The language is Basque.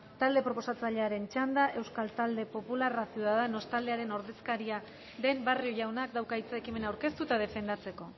talde proposatzailearen txanda euskal talde popularra ciudadanos taldearen ordezkaria den barrio jaunak dauka hitza ekimena aurkeztu eta defendatzeko